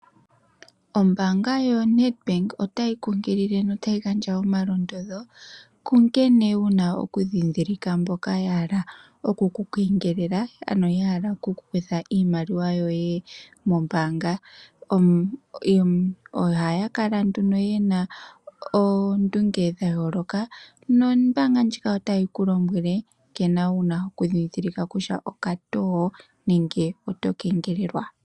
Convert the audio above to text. Ombaanga yoNedbank otayi kunkilile notayi gandja omalondodho kunkene wuna okundhindhilika mboka yahala okukukengelela ano yahala okuku kutha iimaliwa yoye mombaanga. Ohaa kala yena oondunge dhayooloka, otayi ku lombwele woo nkene wuna okundhindhilika kutya okatoo nenge oto kengelelwa.